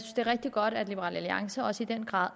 det er rigtig godt at liberal alliance også i den grad